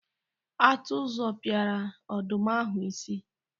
Atụ zọpiara ọdụm ahụ isi.